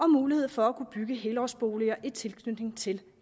mulighed for at bygge helårsboliger i tilknytning til